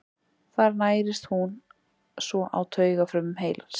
Þar nærist hún svo á taugafrumum heilans.